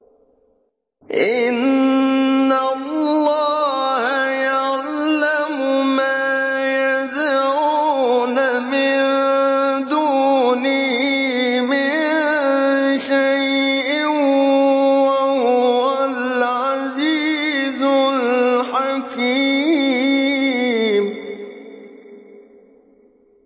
إِنَّ اللَّهَ يَعْلَمُ مَا يَدْعُونَ مِن دُونِهِ مِن شَيْءٍ ۚ وَهُوَ الْعَزِيزُ الْحَكِيمُ